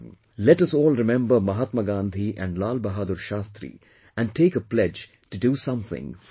Let us all remember Mahatma Gandhi and Lal Bahadur Shastri and take a pledge to do something for the country